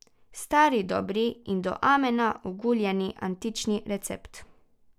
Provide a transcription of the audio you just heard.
Stari dobri in do amena oguljeni antični recept.